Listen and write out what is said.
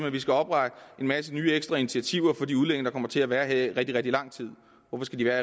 at der skal oprettes en masse nye initiativer for de udlændinge der kommer til at være her i rigtig rigtig lang tid hvorfor skal de være